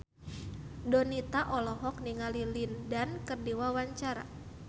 Donita olohok ningali Lin Dan keur diwawancara